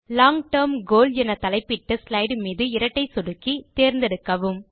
long term goal என தலைப்பிட்ட slide மீது இரட்டை சொடுக்கி தேர்ந்தெடுக்கவும்